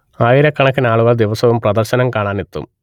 ആയിരക്കണക്കിനാളുകൾ ദിവസവും പ്രദർശനം കാണാൻ എത്തും